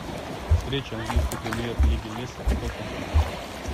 встреча английской премьер лиги лестер с тоттенхэмом